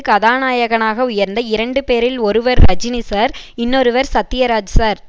கதாநாயகனாக உயர்ந்த இரண்டுபேரில் ஒருவர் ரஜினி சார் இன்னொருவர் சத்யராஜ் சார்